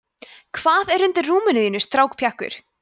hvað er undir rúminu þínu strákpjakkur